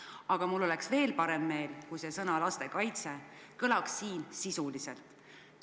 Aga mul oleks veel parem meel, kui sõna "lastekaitse" kõlaks siin sisuliselt.